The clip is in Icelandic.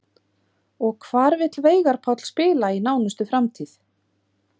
Og hvar vill Veigar Páll spila í nánustu framtíð?